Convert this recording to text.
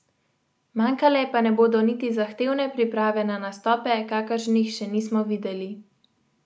Manjkale pa ne bodo niti zahtevne priprave na nastope, kakršnih še nismo videli.